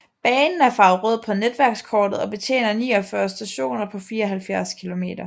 Banen er farvet rød på netværkskortet og betjener 49 stationer på 74 km